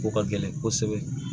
Ko ka gɛlɛn kosɛbɛ